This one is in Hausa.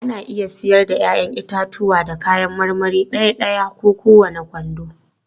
Ana iya siyar da 'ya'yan itatuwa da kayan marmari ɗaya-ɗaya ko kowane kwando.